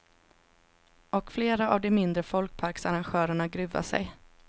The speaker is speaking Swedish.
Och flera av de mindre folkparksarrangörerna gruvar sig.